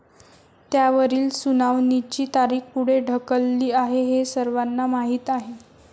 त्यावरील सुनावणीची तारीख पुढे ढकलली आहे हे सर्वांना माहीत आहे.